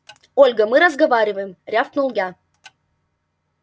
ольга мы разговариваем рявкнул я